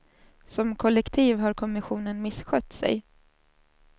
Som kollektiv har kommissionen misskött sig.